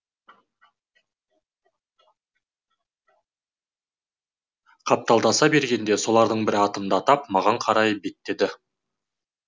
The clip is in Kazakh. қапталдаса бергенде солардың бірі атымды атап маған қарай беттеді